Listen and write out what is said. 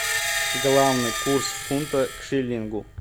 главный курс фунта к шиллингу